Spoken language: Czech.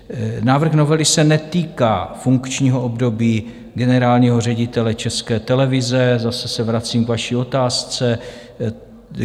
Návrh novely se netýká funkčního období generálního ředitele České televize, zase se vracím k vaší otázce.